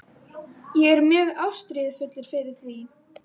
Ég er mjög ástríðufullur fyrir því.